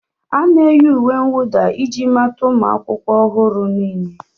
A na-eyi uwe mwụda iji mata ụmụ akwụkwọ ọhụrụ niile.